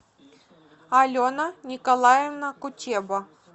алена николаевна кутеба